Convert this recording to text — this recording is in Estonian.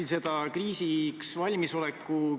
Ma jätkan kriisiks valmisoleku teemaga.